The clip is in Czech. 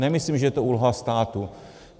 Nemyslím, že je to úloha státu.